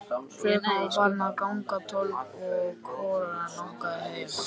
Klukkan var farin að ganga tólf og hvorugan langaði heim.